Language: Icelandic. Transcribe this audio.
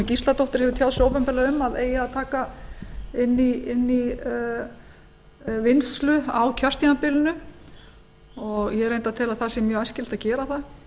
gísladóttir hefur tjáð opinberlega um að eigi að taka inn í vinnslu á kjörtímabilinu ég tel reyndar að það sé mjög æskilegt að gera það